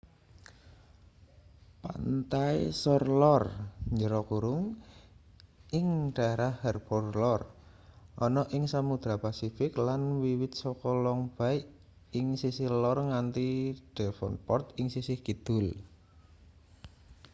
pantai shore lor ing daefrah harbour lor ana ing samodra pasifik lan wiwit saka long bay ing sisih lor nganti devonport ing sisih kidul